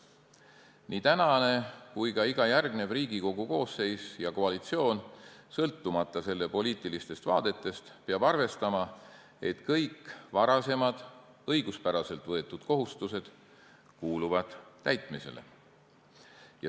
Nii tänane kui ka iga järgnev Riigikogu koosseis ja koalitsioon, sõltumata oma poliitilistest vaadetest, peab arvestama, et kõik varasemad õiguspäraselt võetud kohustused kuuluvad täitmisele.